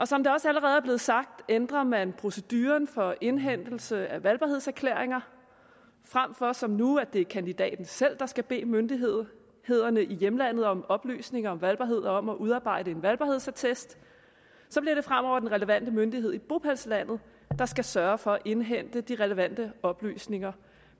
som det også allerede er blevet sagt ændrer man proceduren for indhentelse af valgbarhedserklæringer frem for som nu at det kandidaten selv der skal bede myndighederne i hjemlandet om oplysninger om valgbarhed og om at udarbejde en valgbarhedsattest så bliver det fremover den relevante myndighed i bopælslandet der skal sørge for at indhente de relevante oplysninger